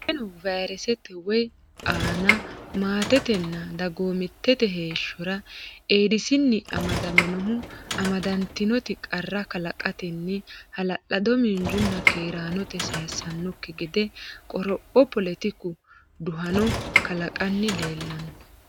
Qoleno vayresete woy aana maatetenna dagoomittete heeshshora Eedisinni amadaminohu amadantinoti qarra kalaqatenni hala lado miinjunna keeraanote sayissannokki gede qoropho poletiku duhano kalaqanni leellanno.